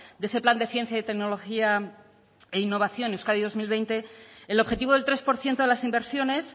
de ese plan de ciencia y tecnología e innovación euskadi dos mil veinte el objetivo del tres por ciento de las inversiones